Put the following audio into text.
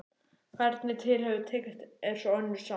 Hvernig til hefur tekist er svo önnur saga.